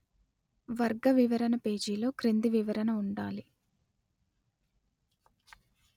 వర్గ వివరణ పేజీలో క్రింది వివరణ ఉండాలి